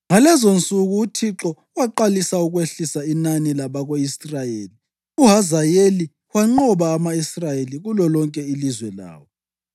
Ngalezonsuku uThixo waqalisa ukwehlisa inani labako-Israyeli. UHazayeli wanqoba ama-Israyeli kulolonke ilizwe lawo,